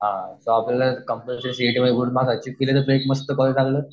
हां मग आपल्याला कंपलसरी सी ए टीमध्ये गुड मार्क्स अचिव्ह केले तर ते एक मस्त